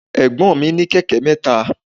Ẹ̀gbọ́n mi ní kẹ̀kẹ́ mẹ́ta.